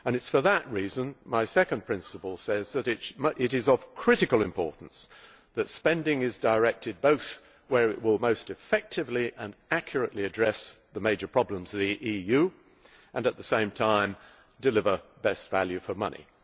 For that reason, my second principle is to stress the critical importance of directing spending to where it will most effectively and accurately address the major problems in the EU and, at the same time, deliver best value for money.